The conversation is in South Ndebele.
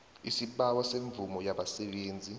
isibawo semvumo yabasebenzi